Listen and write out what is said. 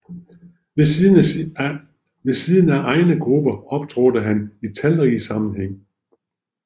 Ved siden af egne grupper optrådte han i talrige sammenhænge